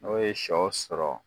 N'o ye sɔ sɔrɔ